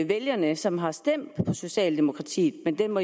vælgere som har stemt på socialdemokratiet men den må